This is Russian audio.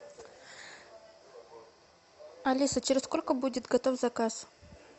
алиса через сколько будет готов заказ